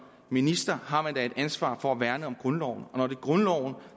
minister har man da et ansvar for at værne om grundloven grundloven